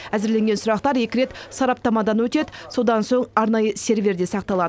әзірленген сұрақтар екі рет сараптамадан өтеді содан соң арнайы серверде сақталады